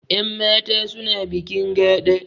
Yan mata suna bikin gaɗa